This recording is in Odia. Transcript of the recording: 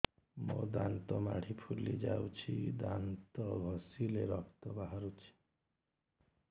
ମୋ ଦାନ୍ତ ମାଢି ଫୁଲି ଯାଉଛି ଦାନ୍ତ ଘଷିଲେ ରକ୍ତ ବାହାରୁଛି